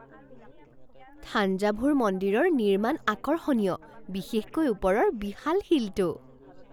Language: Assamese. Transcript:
থাঞ্জাভুৰ মন্দিৰৰ নিৰ্মাণ আকৰ্ষণীয়, বিশেষকৈ ওপৰৰ বিশাল শিলটো।